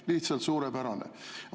Lihtsalt suurepärane!